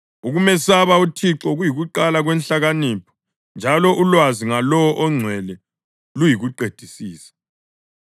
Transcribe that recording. Ukumesaba uThixo kuyikuqala kwenhlakanipho, njalo ulwazi ngaLowo oNgcwele luyikuqedisisa.